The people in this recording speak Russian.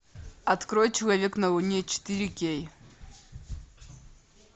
открой человек на луне четыре кей